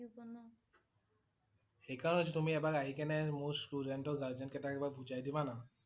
সেইকাৰণে টো তুমি এবাৰ আহি কেনে মোৰ student ৰ guardian কেইটাক এবাৰ বুজাই দিবা না ।